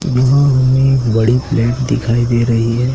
वहा हमें एक बड़ी प्लेट दिखाई दे रही है।